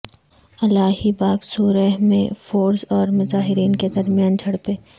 الاہی باغ صورہ میں فورسز اور مظاہرین کے درمیان جھڑپیں